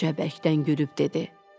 Qoca bəkdən gülüb dedi: